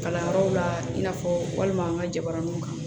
Kalanyɔrɔw la i n'a fɔ walima an ka jabaraninw kan